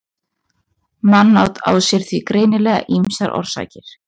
mannát á sér því greinilega ýmsar orsakir